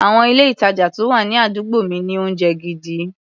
Àwọn ilé-ìtàjà tó wà ní àdúgbò mi ní oúnjẹ gidi.